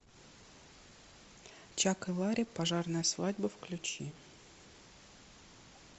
чак и ларри пожарная свадьба включи